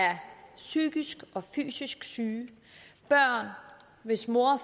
psykisk og fysisk syge børn hvis mor